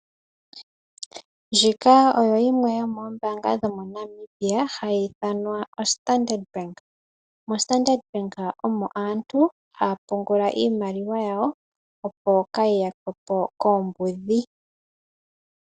Ndjika oyo yimwe yomoombanga dho moNamibia hayi ithanwa o Standard Bank. O Standard Bank omo aantu haya pungula iimaliwa yawo opo kayi yakwe po koombudhi.